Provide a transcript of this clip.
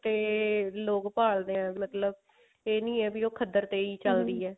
ਤੇ ਲੋਕ ਭਾਲਦੇ ਆ ਮਤਲਬ ਇਹ ਨਹੀਂ ਹੈ ਵੀ ਉਹ ਖੱਦਰ ਤੇ ਹੀ ਚੱਲਦੀ